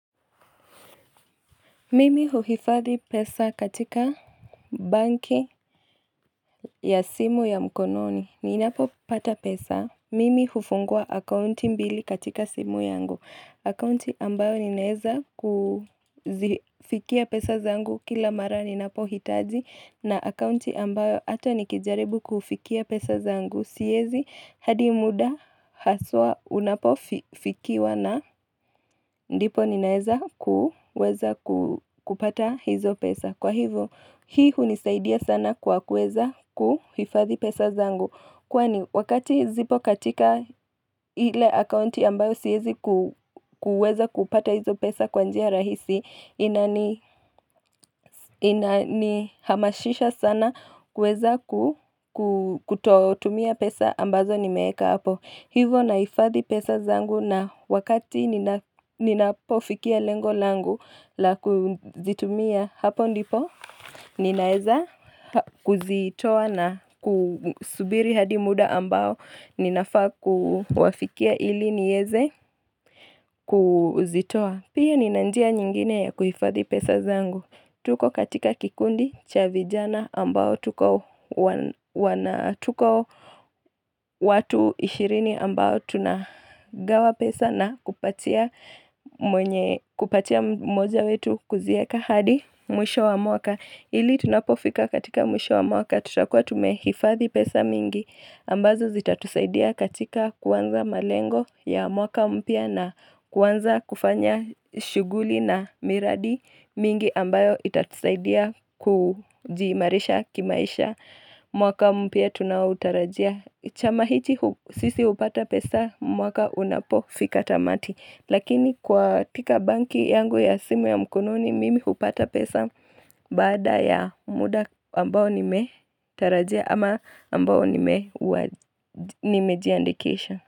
Mimi huhifadhi pesa katika banki ya simu ya mkononi. Ninapo pata pesa. Mimi hufungua akaunti mbili katika simu yangu. Akaunti ambayo ninaeza kufikia pesa zangu kila mara ninapo hitaji. Na akaunti ambayo hata nikijaribu kufikia pesa zangu. Siwezi hadi muda haswa unapo fikiwa na ndipo ninaeza kupata hizo pesa. Kwa hivyo, hii hunisaidia sana kwa kuweza kuhifadhi pesa zangu. Kwani, wakati zipo katika ile akaunti ambayo siwezi kuweza kupata hizo pesa kwa njia rahisi, inanihamasisha sana kuweza kutotumia pesa ambazo nimeeka hapo. Hivyo nahifadhi pesa zangu na wakati ninapofikia lengo langu la kuzitumia hapo ndipo, Ninaeza kuzitoa na kusubiri hadi muda ambao Ninafa kuwafikia ili nieze kuzitoa Pia nina njia nyingine ya kuhifadhi pesa zangu Tuko katika kikundi cha vijana ambao Tuko watu 20 ambao tunagawa pesa na kupatia moja wetu kuzieka hadi mwisho wa mwaka Ili tunapofika katika mwisho wa mwaka tutakuwa tumehifadhi pesa mingi ambazo zitatusaidia katika kuanza malengo ya mwaka mpya na kuanza kufanya shughuli na miradi mingi ambayo itatusaidia kujiimarisha kimaisha mwaka mpya tunaotarajia. Chama hichi sisi hupata pesa mwaka unapofika tamati. Lakini kwa pika banki yangu ya simu ya mkononi mimi hupata pesa baada ya muda ambao nime tarajia ama ambao nimeji andikisha.